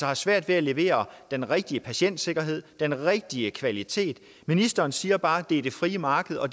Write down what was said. har svært ved at levere den rigtige patientsikkerhed den rigtige kvalitet ministeren siger bare at det er det frie marked og